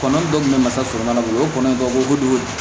Kɔnɔ dɔ kun bɛ masala bolo o ye kɔnɔ in dɔ ko kojugu